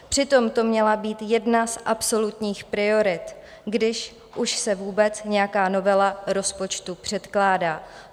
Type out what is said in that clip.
Přitom to měla být jedna z absolutních priorit, když už se vůbec nějaká novela rozpočtu předkládá.